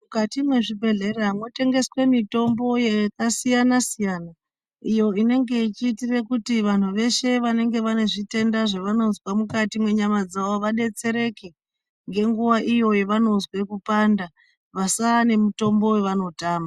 Mukati mwezvibhedhleya mwotengeswe mitombo yakasiyana siyana iyo inenge ichiitire kuti vantu veshe vanenge vanezvitenda zvavanozwa mukati mwenyama dzavo vadetsereke ngenguwa iyo yavanozwe kupanda vasave nemutombo wavanotama.